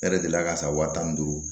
E yɛrɛ delila ka san wa tan ni duuru